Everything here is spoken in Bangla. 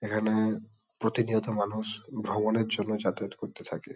এখানে প্রতিনিয়ত মানুষ ভগবানের জন্য যাতায়াত করতে থাকে ।